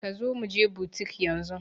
Kazo muje butik yanzun